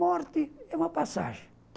Morte é uma passagem.